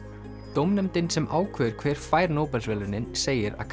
dómnefndin sem ákveður hver fær Nóbelsverðlaunin segir að